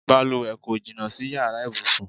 Balùwẹ̀ kò jìnnà sí yàrá ibùsùn.